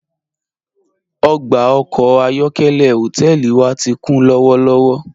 Ogba ọkọ ayọ̀kẹ̀lẹ̀ hotẹẹli wa ti kun lọwọlọwọ.